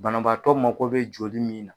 Banabaatɔ mako be joli min na